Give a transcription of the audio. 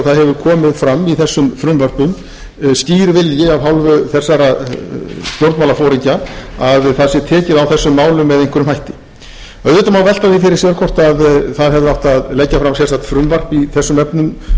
það hefur komið fram í þessum frumvörpum skýr vilji af hálfu þessara stjórnmálaforingja að það sé tekið á þessum málum með einhverjum hætti auðvitað má velta því fyrir sér hvort það hefði átt að leggja fram sérstakt frumvarp í þessum efnum hér og nú mín niðurstaða var sú að hér